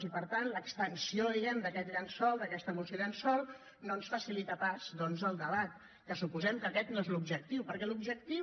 i per tant l’extensió diguem ne d’aquest llençol d’aquesta moció llençol no ens facilita pas doncs el debat que suposem que aquest no és l’objectiu perquè l’objectiu